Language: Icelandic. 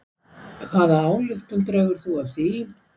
Hvaða ályktun dregur þú af því?